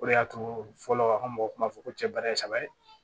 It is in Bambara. O de y'a to fɔlɔ a ka mɔgɔ kuma fɔ ko cɛ baara ye saba ye